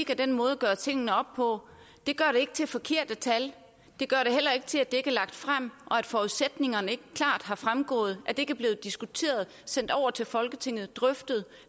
af den måde at gøre tingene op på det gør det ikke til forkerte tal det gør det heller ikke til at det ikke er lagt frem at forudsætningerne ikke klart er fremgået at det ikke er blevet diskuteret sendt over til folketinget drøftet